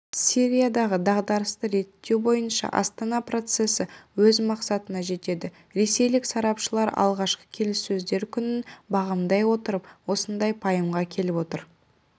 сириядағы дағдарысты реттеу бойынша астана процесі өз мақсатына жетеді ресейлік сарапшылар алғашқы келіссөздер күнін бағамдай отырып осындай пайымға келіп отыр